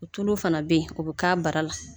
Tulu fana be yen o bi k'a bara la.